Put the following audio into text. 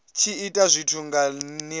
tshi ita zwithu nga nila